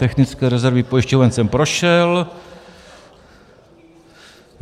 Technické rezervy pojišťoven jsem prošel.